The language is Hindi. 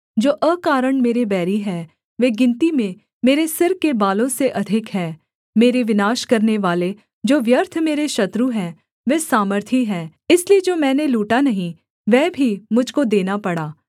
जो अकारण मेरे बैरी हैं वे गिनती में मेरे सिर के बालों से अधिक हैं मेरे विनाश करनेवाले जो व्यर्थ मेरे शत्रु हैं वे सामर्थी हैं इसलिए जो मैंने लूटा नहीं वह भी मुझ को देना पड़ा